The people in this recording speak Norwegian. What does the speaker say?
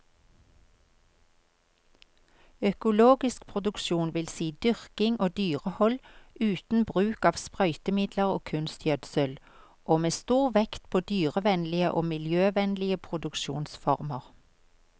Økologisk produksjon vil si dyrking og dyrehold uten bruk av sprøytemidler og kunstgjødsel, og med stor vekt på dyrevennlige og miljøvennlige produksjonsformer.